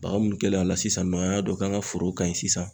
Baga munnu kɛlen a la sisan nɔ an y'a dɔn k'an ka foro ka ɲi sisan.